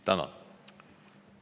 Tänan!